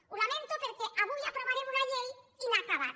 ho lamento perquè avui aprovarem una llei inacabada